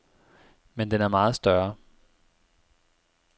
Men den er meget større.